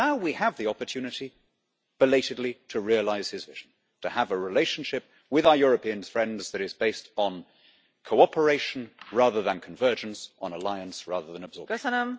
Now we have the opportunity, belatedly, to realise his vision to have a relationship with our European friends that is based on cooperation rather than convergence, on alliance rather than absorption.